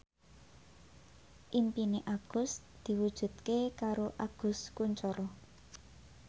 impine Agus diwujudke karo Agus Kuncoro